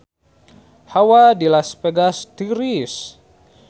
Hawa di Las Vegas tiris